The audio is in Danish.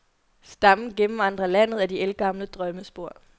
Stammen gennemvandrer landet ad de ældgamle drømmespor.